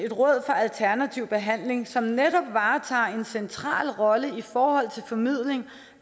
råd for alternativ behandling som netop varetager en central rolle i forhold til formidling